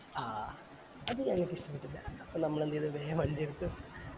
ആഹ് അത് നല്ല ബുദ്ധിമുട്ട് അല്ലെ അപ്പൊ നമ്മൾ എന്ത് ചെയ്തു വേഗം വണ്ടി എടുത്ത്